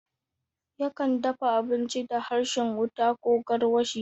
Yakan dafa abinci da harshen wuta ko garwashi.